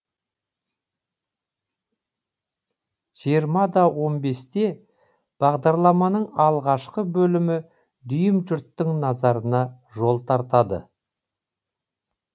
жиырмада он бесте бағдарламаның алғашқы бөлімі дүйім жұрттың назарына жол тартады